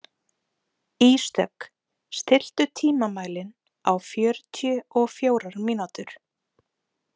Ísdögg, stilltu tímamælinn á fjörutíu og fjórar mínútur.